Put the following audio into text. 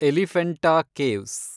Elephanta caves